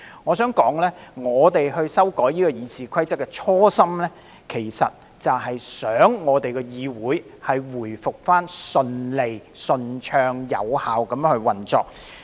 我想指出，修訂《議事規則》的初心，其實是希望議會回復順利、順暢及有效地運作。